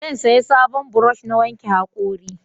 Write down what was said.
Zan saya sabon burosh na wanke hakori